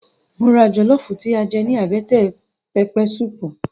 Mo ra jọlọfu tí a jẹ ní àbẹ́tẹ̀ pẹpẹ suupu